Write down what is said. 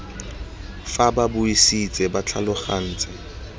fa ba buisitse ba tlhalogantse